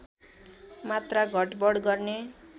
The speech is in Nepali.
मात्रा घटबढ गर्ने